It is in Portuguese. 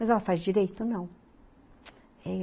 Mas ela faz direito? Não!